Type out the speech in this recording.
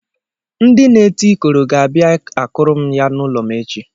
Ndị na-eti ikoro ga-abịa akụrụ m ya n'ụlọ m echi.